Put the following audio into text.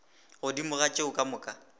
godimo ga tšeo ka moka